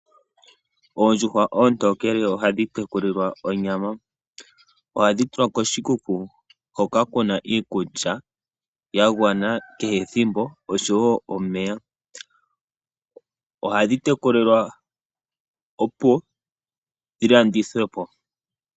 Oondjuhwa ontokele ohadhi teku lilwa onyama. Ohadhi tulwa koshikuku hoka kuna iikulya ya gwana kehe ethimbo oshowo omeya, ohadhi teku lilwa opo dhi landithwepo.